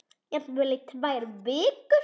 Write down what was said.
Jafnvel í tvær vikur.